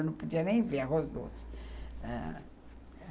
Eu não podia nem ver arroz doce.